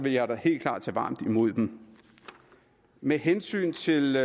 jeg da helt klart tage varmt imod dem med hensyn til